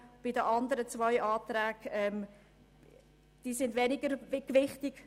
Die anderen zwei Anträge sind weniger gewichtig.